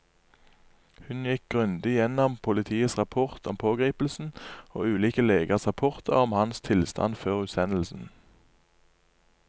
Hun gikk grundig gjennom politiets rapport om pågripelsen og ulike legers rapporter om hans tilstand før utsendelsen.